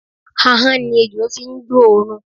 Ahọ́n ni ejò fi ń gbóòórùn.